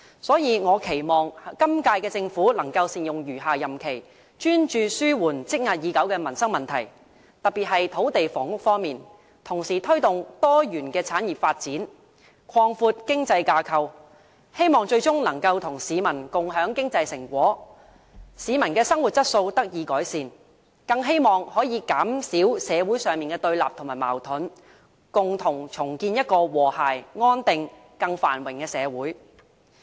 所以，我期望本屆政府能善用餘下任期，專注紓緩積壓已久的民生問題，特別是土地房屋方面，同時推動多元產業發展，擴闊經濟架構，希望最終能與市民共享經濟成果，令市民的生活質素得以改善，更希望能減少社會的對立和矛盾，共同重建一個和諧、安定、繁榮的社會。